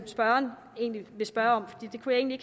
spørgeren egentlig vil spørge om jeg kunne egentlig